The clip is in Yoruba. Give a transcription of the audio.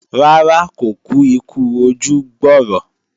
Rárá, kò kú ikú ojú gbọ̀rọ̀